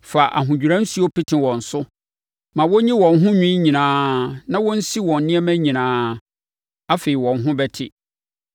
Fa ahodwira nsuo pete wɔn so. Ma wɔnyi wɔn ho nwi nyinaa, na wɔnsi wɔn nneɛma nyinaa, afei wɔn ho bɛte.